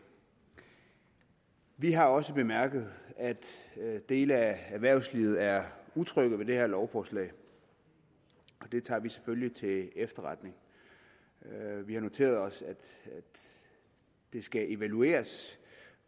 vi har også bemærket at dele af erhvervslivet er utrygge ved det her lovforslag og det tager vi selvfølgelig til efterretning vi har noteret os at det skal evalueres